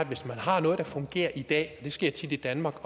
hvis man har noget der fungerer i dag og det sker tit i danmark